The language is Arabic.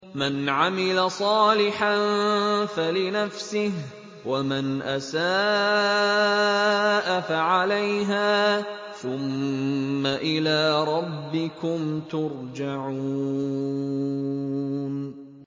مَنْ عَمِلَ صَالِحًا فَلِنَفْسِهِ ۖ وَمَنْ أَسَاءَ فَعَلَيْهَا ۖ ثُمَّ إِلَىٰ رَبِّكُمْ تُرْجَعُونَ